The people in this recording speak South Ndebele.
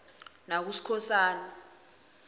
nakuskhosana